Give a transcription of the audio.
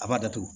A b'a datugu